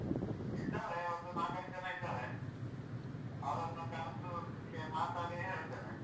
ಇದ್ದಾರೆ ಒಂದು ನಾಕೈದು ಜನ ಇದ್ದಾರೆ. ಅವ್ರನ್ನು ಕರ್ದು ಒಟ್ಟಿಗೆ ಮಾತಾಡಿ ಹೇಳ್ತೇನೆ.